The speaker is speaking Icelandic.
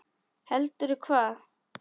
Heldur hvað?